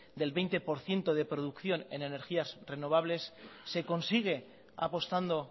del veinte por ciento de producción en energías renovables se consigue apostando